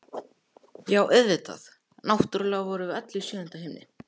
Já, auðvitað, náttúrlega vorum við öll í sjöunda himni!